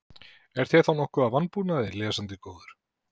Er þér þá nokkuð að vanbúnaði, lesandi góður?